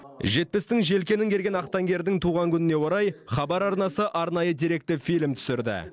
жетпістің желкенін керген ақтаңгердің туған күніне орай хабар арнасы арнайы деректі фильм түсірді